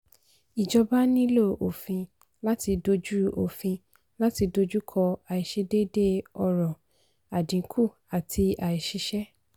ìjọba nílò òfin láti dojú òfin láti dojú kọ àìsedéédéé ọrọ̀ àdínkù àti aìsísẹ́.